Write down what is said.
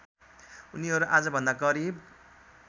उनीहरू आजभन्दा करिब